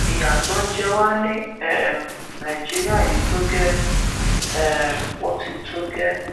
ìyà tó ń jẹ wà ní um nàìjíríà yìí tó gẹẹ um ó ti tó gẹẹ